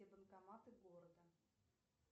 и банкоматы города